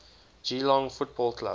geelong football club